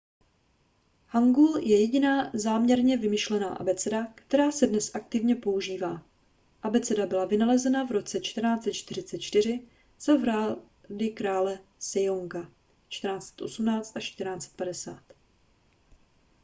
hangeul je jediná záměrně vymyšlená abeceda která se dnes aktivně používá. abeceda byla vynalezena v roce 1444 za vlády krále sejonga 1418–1450